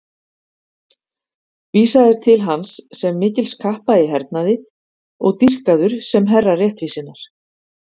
Vísað er til hans sem mikils kappa í hernaði og dýrkaður sem herra réttvísinnar.